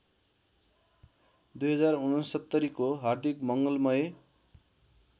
२०६९को हार्दिक मङ्गलमय